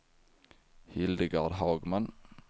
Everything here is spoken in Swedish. Hildegard Hagman